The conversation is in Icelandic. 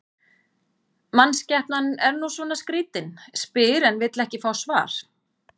Mannskepnan er nú svona skrýtin, spyr en vill ekki fá svar.